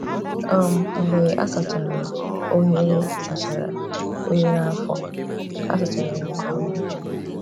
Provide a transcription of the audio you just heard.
um Mgbe a sachara oghere sachara oghere afọ, a sachara ya nke ọma.